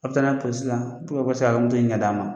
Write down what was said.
A' bɛ taa n'a ye la u ka se k'a' ka ɲini k'a d'a' ma.